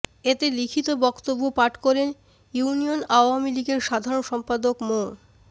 এতে লিখিত বক্তব্য পাঠ করেন ইউনিয়ন আওয়ামী লীগের সাধারণ সম্পাদক মো